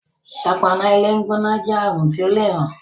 ṣọpọnna ilé gbóná jé àrùn ti ọ lẹ rán.